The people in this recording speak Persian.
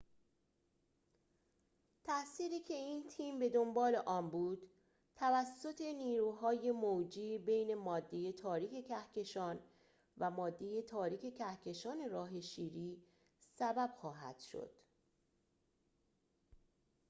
تأثیری که این تیم بدنبال آن بود توسط نیروهای موجی بین ماده تاریک کهکشان و ماده تاریک کهکشان راه شیری سبب خواهد شد